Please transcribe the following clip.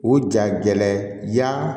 O ja gɛlɛn ya